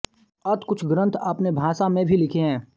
अत कुछ ग्रंथ आपने भाषा में भी लिखे हैं